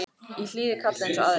Ég hlýði kalli eins og aðrir.